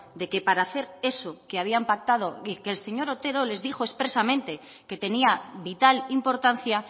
de que para hacer eso que habían pactado y que el señor otero les dijo expresamente que tenía vital importancia